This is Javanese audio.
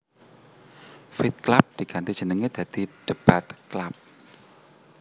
Fight Club diganti jenenge dadi Debate Club